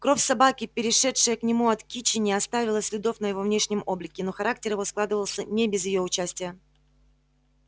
кровь собаки перешедшая к нему от кичи не оставила следов на его внешнем облике но характер его складывался не без её участия